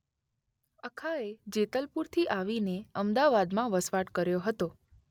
અખાએ જેતલપુરથી આવીને અમદાવાદમાં વસવાટ કર્યો હતો.